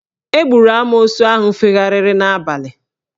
Egburu amoosu ahụ fegharịrị n'abalị